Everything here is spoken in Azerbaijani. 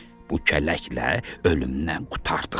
Bu kələklə ölümdən qurtardıq.